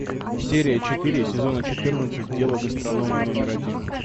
серия четыре сезона четырнадцать дело гастронома номер один